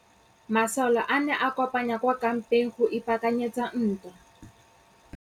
Masole a ne a kopane kwa kampeng go ipaakanyetsa ntwa.